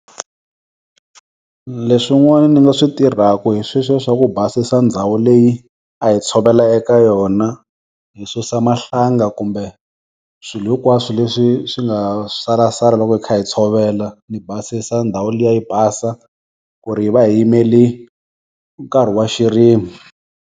Leswin'wana ni nga swi tirhaku hi sweswiya swa ku basisa ndhawu leyi a hi tshovela eka yona, hi susa mahlanga, kumbe swilo hinkwaswo leswi swi nga salasala loko hi kha hi tshovela ni basisa ndhawu liya yi basa ku ri hi va hi yimeli nkarhi wa xirimo.